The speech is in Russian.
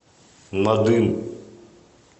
надым